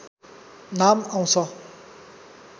नाम आउँछ